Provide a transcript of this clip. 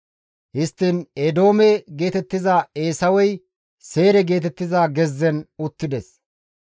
Histtiin Eedoome geetettiza Eesawey Seyre geetettiza gezzen uttides.